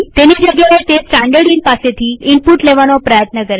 તેની જગ્યાએતે સ્ટાનડર્ડઈન પાસેથી ઈનપુટ લેવાનો પ્રયત્ન કરે છે